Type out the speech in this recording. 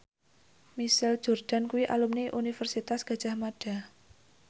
Michael Jordan kuwi alumni Universitas Gadjah Mada